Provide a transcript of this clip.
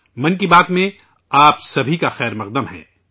'من کی بات ' میں آپ سب کا خیرمقدم ہے